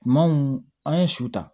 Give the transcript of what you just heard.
Kuma mun an ye su ta